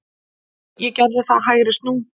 Ég gerði það, hægri snú.